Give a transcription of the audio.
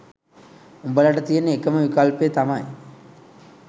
උඹලාට තියෙන එකම විකල්පය තමයි